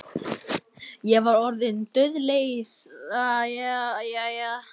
Hvað ég var orðin dauðleið á- já, jæja.